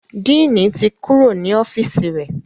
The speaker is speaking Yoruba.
Diini tí Kúrò ní ọ́fíìsì rẹ.